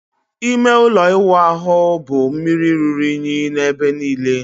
Ime ụlọ ịwụ ahụ bụ mmiri ruru unyi n'ebe niile.